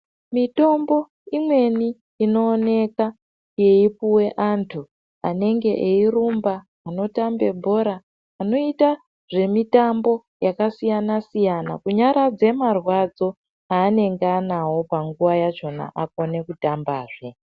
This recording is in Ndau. Mitombo imweni inooneka yeipuwe antu anenge eirumba anotambe bhora anoita zvemitamba yakasiyana siyana kunyaradze marwadzo anenge anawo panguva yachona akone tambazve.